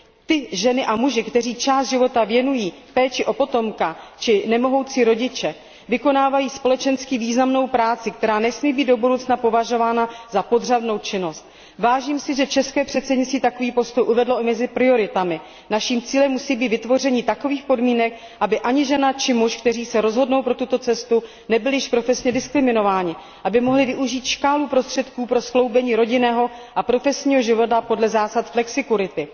Ty ženy a muži, kteří část života věnují péči o potomka, či nemohoucí rodiče vykonávají společensky významnou práci, která nesmí být do budoucna považována za podřadnou činnost. Vážím si, že české předsednictví takový postup uvedlo i mezi prioritami. Naším cílem musí být vytvoření takových podmínek, aby ani žena, či muž, kteří se rozhodnou pro tuto cestu, nebyli již profesně diskriminováni, aby mohli využít škálu prostředků pro skloubení rodinného a profesního života podle zásad flexikurity.